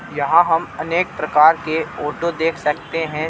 यहां हम अनेक प्रकार के ऑटो देख सकते हैं.